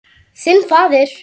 Þinn faðir.